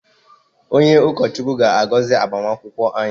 Onye ụkọ Chukwu ga-agozi agbamakwụkwọ anyị.